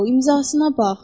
İmzasına bax.